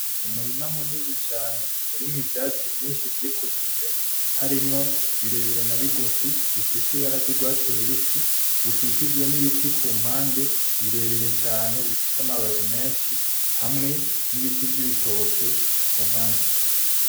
Umurima munini cane urimwo ivyatsi vyinshi vyikujije harimwo birebire na bigufi bifise ibara ry'urwatsi rubisi rukikijwe n'ibiti ku ruhande birebire cane bifise amababi menshi hamwe n'ibiti vy'ibitoke ku mpande.